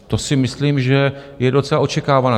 To si myslím, že je docela očekávané.